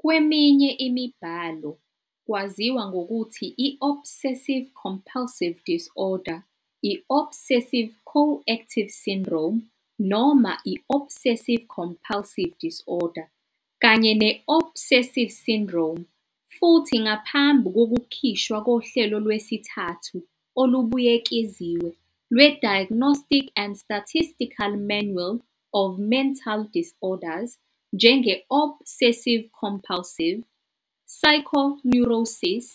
Kweminye imibhalo kwaziwa ngokuthi "i-obsessive-compulsive disorder", "i-obsessive-coactive syndrome" noma i- "obsessive-compulsive disorder" kanye ne "-obsessive syndrome" futhi, ngaphambi kokukhishwa kohlelo lwesithathu olubuyekeziwe lwe- "Diagnostic and Statistical Manual of Mental Disorders", njenge"-obsessive-compulsive psycho neurosis",